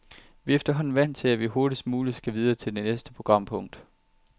Vi er efterhånden vant til, at vi hurtigst muligt skal videre til næste programpunkt.